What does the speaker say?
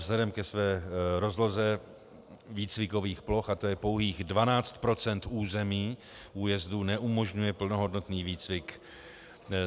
Vzhledem ke své rozloze výcvikových ploch, a to je pouhých 12 % území újezdu, neumožňuje plnohodnotný výcvik.